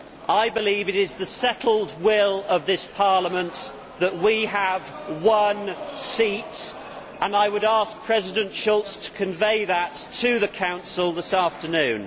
I believe it is the settled will of this Parliament that we have one seat, and I would ask President Schulz to convey that to the Council this afternoon.